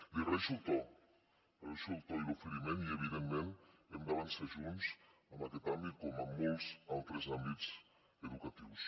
li agraeixo el to el seu to i l’oferiment i evidentment hem d’avançar junts en aquest àmbit com en molts altres àmbits educatius